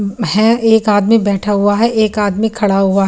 वह एक आदमी बैठा हुआ है। एक आदमी खड़ा हुआ --